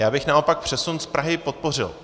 Já bych naopak přesun z Prahy podpořil.